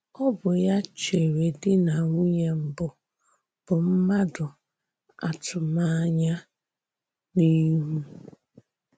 Ọ bụ́ ya chèré dì na nwùnyè mbù bụ́ mmádụ àtụ̀mànyà a n’ihu.